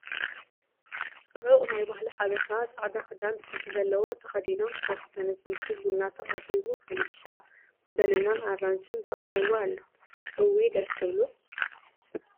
ዕቡቕ ናይ ባህሊ ሓበሻ ፃዕዕዳኽዳን ጥልፊ ዘለዎ ተኸዲኖም ሰቲ ተነስኒሱ ቡና ተቐሪቡፈንድሻ፣ በናናን ኣራክሽን ተቐሪቡ አሎ ፡ እውይ ደስ ክብሉ !